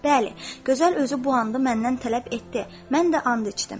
Bəli, gözəl özü bu andı məndən tələb etdi, mən də and içdim.